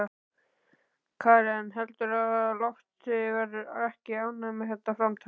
Karen: Heldurðu að Loftur verði ekki ánægður með þetta framtak?